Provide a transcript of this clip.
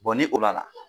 ni o la